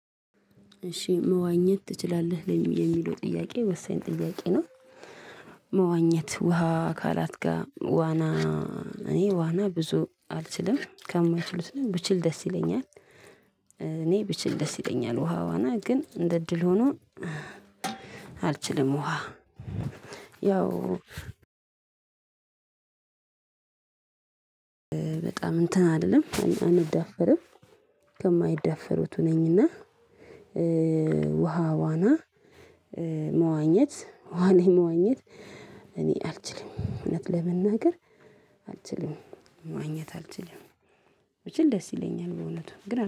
እሺ መዋኘት ትችላለህ የሚለው ጥያቄ ወሳኝ ጥያቄ ነው? መዋኘት ውሃ አካላት ጋር ዋና እኔ ዋና ብዙ አልችልም ከማይችሉት ነኝ ብችል ደስ ይለኛል። እኔ ብችል ደስ ይለኛል ውሃ ዋና ግን እንደ እድል ሆኖ። አልችልም ውሃ ያው በጣም እንትን አልልም አንዳፈርም። ከማይደፈሩት ነኝና። ውሃ ዋና መዋኘት ዋና መዋኘት እኔ አልችልም እውነት ለመናገር አልችልም ማግኘት አልችልም። ብችል ደስ ይለኛል በእውነቱ ግን